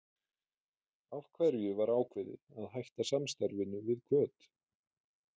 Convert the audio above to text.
Af hverju var ákveðið að hætta samstarfinu við Hvöt?